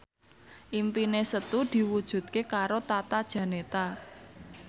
impine Setu diwujudke karo Tata Janeta